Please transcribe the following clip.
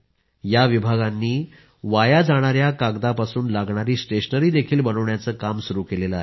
या विभागांनी वाया जाणाया कागदांपासून लागणारी स्टेशनरीही बनवण्याचं काम सुरू केलं आहे